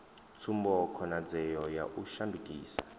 tsumbo khonadzeo ya u shandukisa